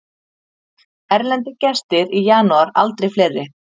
Erlendir gestir í janúar aldrei fleiri